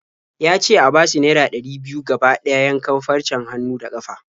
Ya ce a bashi naira ɗari biyu gaba ɗaya yankan farcen hannu da ƙafa.